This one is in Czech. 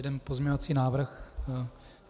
Jeden pozměňovací návrh.